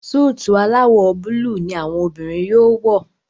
Súìtì alawọ Búlúù ní àwọn obìrin yóò wọ.